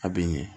A bɛ n ɲɛ